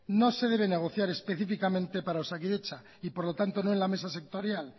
no se debe negociar específicamente para osakidetza y por lo tanto no en la mesa sectorial